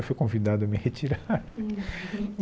Eu fui convidado a me retirar.